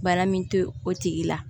Bana min to o tigi la